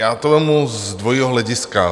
Já to vezmu z dvojího hlediska.